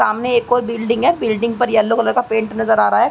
सामने एक और बिल्डिंग है। बिल्डिंग पर येलो कलर का पेंट नज़र आ रहा है।